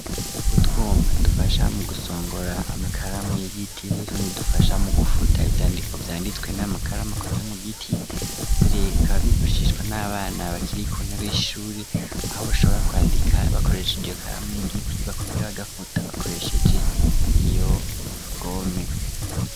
Gutwuma dufasha mu gusongora amakaramu y'igiti nutuni bdufasha mu gufuta ivyandiko vyangitwe n'amakaramakozi mu giti azirerika bavyifashishwa n'abana bakiri kuntebo ishure aho bashobora kwandika bakoresha idiyokaramu y'igiti bakongera bagafuta bakoresheje iyo gome.